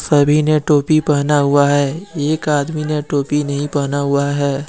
सभी ने टोपी पहना हुआ है एक आदमी ने टोपी नहीं पहना हुआ है।